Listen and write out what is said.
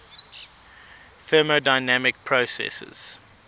thermodynamic processes